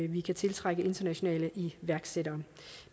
vi kan tiltrække internationale iværksættere